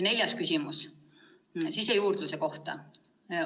Neljas küsimus, sisejuurdluse kohta.